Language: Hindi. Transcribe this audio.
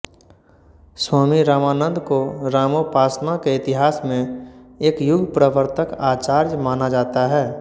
स्वामी रामानंद को रामोपासना के इतिहास में एक युगप्रवर्तक आचार्य माना जाता है